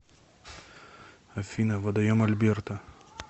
афина водоем альберта